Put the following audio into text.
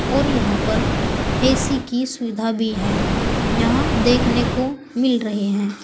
और यहां पर ए_सी की सुविधा भी है यहां देखने को मिल रहे हैं।